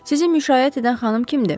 Sizi müşayiət edən xanım kimdir?